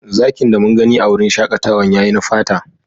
Zakin da mun gani a'wurin shakatawan ya yi na fata.